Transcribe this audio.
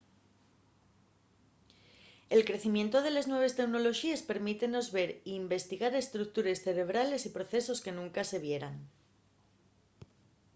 el crecimientu de les nueves teunoloxíes permítemos ver y investigar estructures cerebrales y procesos que nunca se vieran